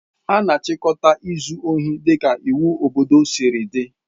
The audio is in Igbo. A na-achịkọta izu ohi dịka iwu obodo siri dị.